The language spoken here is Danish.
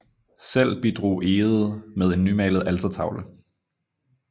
Selv bidrog Egede med en nymalet altertavle